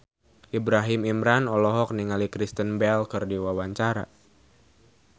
Ibrahim Imran olohok ningali Kristen Bell keur diwawancara